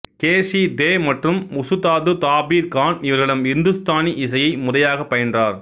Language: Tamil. கே சி தே மற்றும் உசுதாது தாபீர் கான் இவர்களிடம் இந்துஸ்தானி இசையை முறையாக பயின்றார்